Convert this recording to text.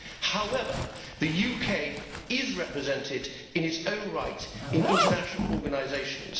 However, the UK is represented in its own right in international organisations.